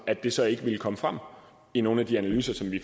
at det så ikke ville komme frem i nogle af de analyser som vi